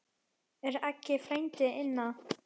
Er Aggi frændi inná?